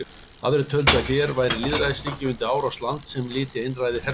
Aðrir töldu að hér væri lýðræðisríki undir árás lands sem lyti einræði herstjórnar.